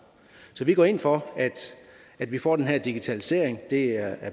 så enhedslisten går ind for at vi får den her digitalisering det er